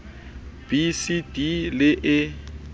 b c d le e